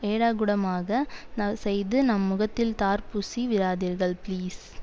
ஏடாகூடமாக செய்து நம் முகத்தில் தார் பூசி விடாதீர்கள் ப்ளீஸ்